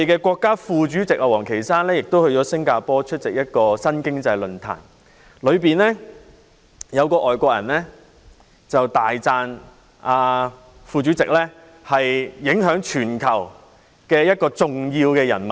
國家副主席王岐山早前在新加坡出席一個新經濟論壇，有一位外籍人士大讚副主席是影響全球的一位重要人物。